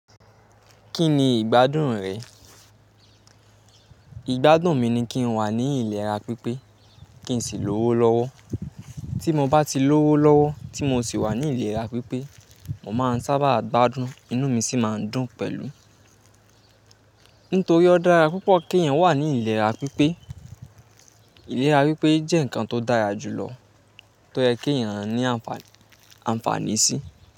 Kí ni ìgbádùn rẹ̀? Ìgbádùn mi ni kí n wà ní ilera pípé kí n sì lówó lọ́wọ́. Tí mo bá ti lówó lọ́wọ́ tí mo sì wà ní ilera pípé, mo máa ń sábà gbádùn, inú mi sì máa ń dùn pẹ̀lú. Nítorí ó dára púpọ̀ kí èèyàn wà ní ilera pípé. Ilera pípé jẹ́ ǹkan tó dára jùlọ tó yẹ kí èèyàn ní àǹfààní sí.